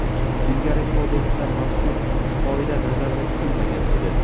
Ilgari Kodeksda mazkur qoida nazarda tutilmagan edi.